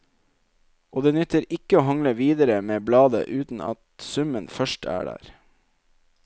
Og det nytter ikke å hangle videre med bladet uten at summen først er der.